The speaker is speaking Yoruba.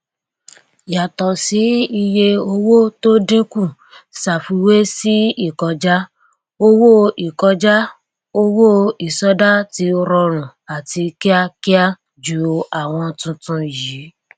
yàtọ sí iye owó tó dínkù ṣàfiwé sì ìkọjá owó ìkọjá owó ìsọdá ti rọrùn àti kíákíá ju àwọn tuntun yìí